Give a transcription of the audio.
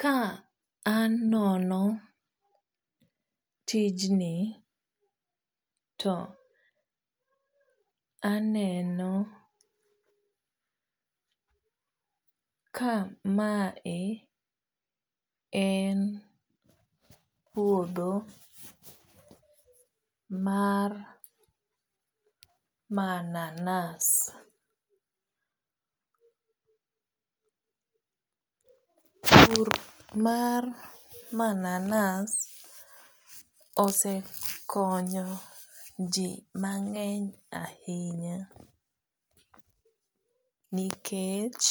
Ka anono tijni to aneno kamae en puodho mar mananas, pur mar manans osekonyo jii mangeny ahinya nikech